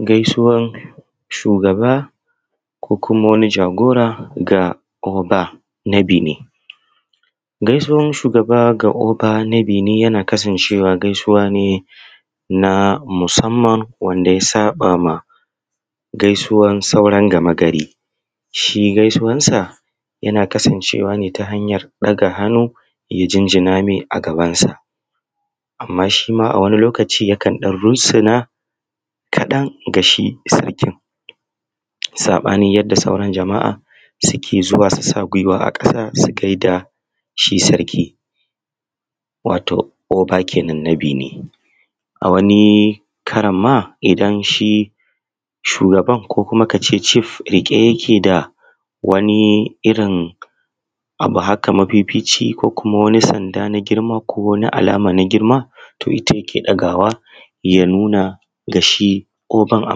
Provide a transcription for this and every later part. Gaisuwan shugaba ko kuma wani jagora ga Oba na Beni. Gaisuwa shugaba ko Oba na Beni yana kasancewan gaisuwa ne na musamman wato wanda ya tsafa wa gaisuwan sauran gamagari, shi gaisuwan sa yana kasancewa ne ta hanyan ɗaga hannu ya jinjina me a gabansa. A mma shi ma a wani lokaci yakan ɗan runsuna kaɗan ga shi sarkin tsafa ɗin yadda sauran jama’a suke zuwa su sa gwima aa ƙasa su je su gaishe da shi sarkin wato Oba kenan. Rabi ne a wani karan ma idan shi shugaban ko kuma ka ce cif yake da wani irin abu haka mafifici ko kuma wani sanda na girma ko wani abu alama na girma to ita yake ɗagawa ya nuna ga shi ko kan a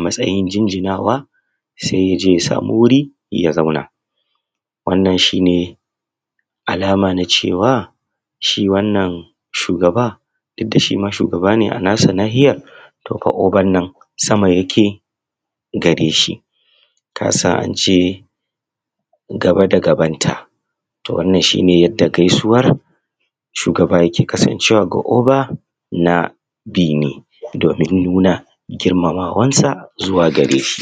matsayin jinjinawa, se ya je ya samu wuri ya zauna. Wanan shi ne alama na cewa shi wannan shugaba did da shi ma shugaba ne a nashi nahira to ga ogan nan sa a yake gare shi ka san an ce gaba da gabanta. To, wannan shi ne yadda gaisuwan shugaba yake ko kuma Oba na Beni domin nuna girmamawansa zuwa gare shi.